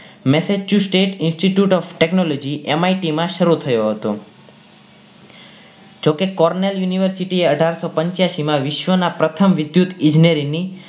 message choose state Institute of TechnologyMIT માં શરુ થયો હતો જો કે Cornell University એ અઢારસો પંચ્યાસી માં વિશ્વ ના પ્રથમ વિદ્યુત ઈજનેરી ની